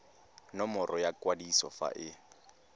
nomoro ya kwadiso fa e